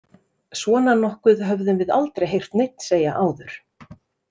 Svona nokkuð höfðum við aldrei heyrt neinn segja áður.